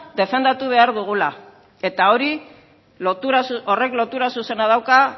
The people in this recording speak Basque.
defendatu behar dugula eta horrek lotura zuzena dauka